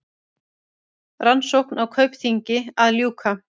Rannsókn á Kaupþingi að ljúka